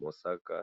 mosaka.